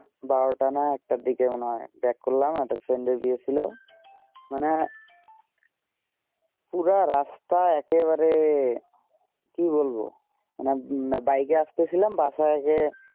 বারো টা না এক টা দিকে মোনে হয়ে back করলাম একটার friend বিয়ে ছিলো মানে পুরা রাস্তা একেবারে কি বলবো মানে bike আস্তে ছিলাম বাসা গিয়ে